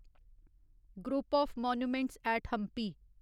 group of monuments at Hampi